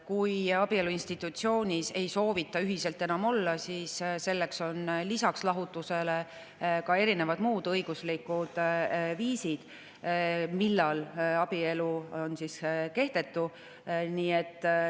Kui ei soovita ühiselt enam abielu institutsioonis olla, siis on lisaks lahutusele muud õiguslikud viisid, millal abielu on kehtetu.